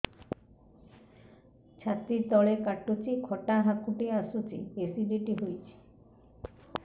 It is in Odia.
ଛାତି ତଳେ କାଟୁଚି ଖଟା ହାକୁଟି ଆସୁଚି ଏସିଡିଟି ହେଇଚି